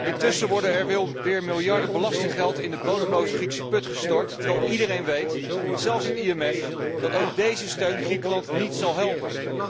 Intussen worden er wel weer miljarden belastinggeld in de bodemloze Griekse put gestort terwijl iedereen weet, zelfs het IMF, dat ook deze steun Griekenland niet zal helpen.